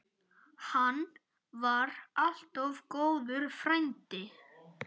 Hann var alltaf góður frændi.